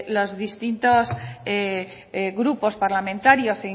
los distintos grupos parlamentarios